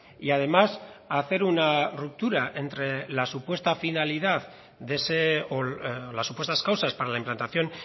y además hacer una ruptura entre la supuesta finalidad o las supuestas causas para la implantación